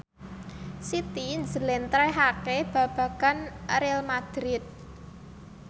Siti njlentrehake babagan Real madrid